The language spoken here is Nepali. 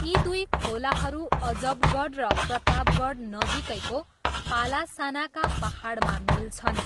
यी दुई खोलाहरू अजबगढ र प्रतापगढ नजिकैको पलासानाका पाहाडमा मिल्छन्।